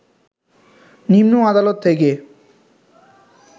নিম্ন আদালত থেকে